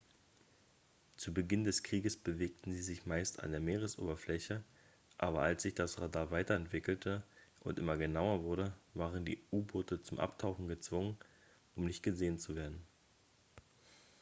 zu beginn des krieges bewegten sie sich meist an der meeresoberfläche aber als sich das radar weiterentwickelte und immer genauer wurde waren die u-boote zum abtauchen gezwungen um nicht gesehen zu werden